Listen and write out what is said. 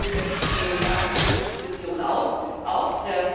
Die Gläubiger sitzen ihm im Nacken und die Opposition auch.